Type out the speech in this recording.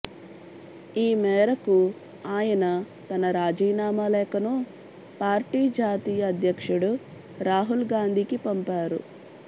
ఈ మేరకు ఆయన తన రాజీనామా లేఖను పార్టీ జాతీయ అధ్యక్షుడు రాహుల్ గాంధీకి పంపారు